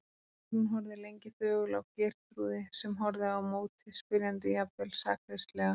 Guðrún horfði lengi þögul á Geirþrúði sem horfði á móti, spyrjandi, jafnvel sakleysislega.